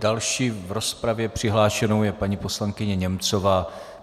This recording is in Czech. Další v rozpravě přihlášenou je paní poslankyně Němcová.